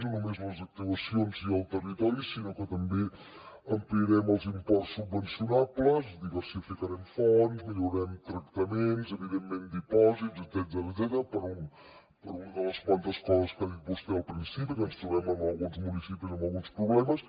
no només les actuacions i el territori sinó que també ampliarem els imports subvencionables diversificarem fonts millorarem tractaments evidentment dipòsits etcètera per una de les coses que ha dit vostè al principi que ens trobem en alguns municipis amb alguns problemes